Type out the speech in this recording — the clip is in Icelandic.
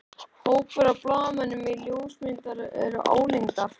Hópur af blaðamönnum og ljósmyndurum álengdar.